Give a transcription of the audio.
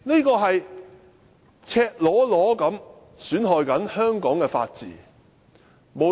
這是赤裸裸地損害香港的法治。